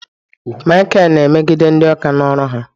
Michael na-emegide ndị oka na oru ha